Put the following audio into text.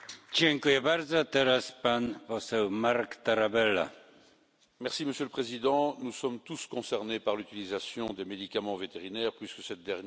Monsieur le Président, nous sommes tous concernés par l'utilisation des médicaments vétérinaires puisque cette dernière a un impact direct sur notre alimentation, sur l'environnement et sur notre santé.